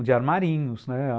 de armarinhos, né? ah